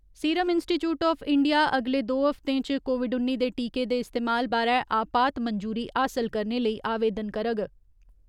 Serum institute of India अगले दो हफ्तें च कोविड उन्नी दे टीके दे इस्तेमाल बारै आपात मंजूरी हासल करने लेई आवेदन करग।